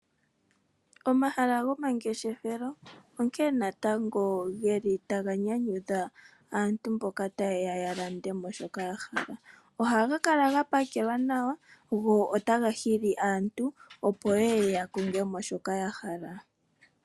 Omahala gomangeshefelo onkee natango geli taga nyanyudha aantu mboka tayeya ya lande shoka ya hala, ohaga kala ga pakelwa nawa go otaga hili aantu opo yeye ya kongemo shoka ya hala.